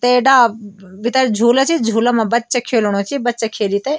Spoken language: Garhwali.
तै डाल भितर झूला च झूला मा बच्चा खिलणू च बच्चा खेली तै --